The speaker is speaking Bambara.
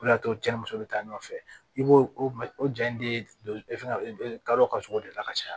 O de y'a to cɛ ni muso bɛ taa ɲɔgɔn fɛ i b'o o ja in di fɛn kadɔ ka sogo de la ka caya